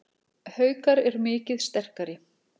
Haukar eru mikið sterkari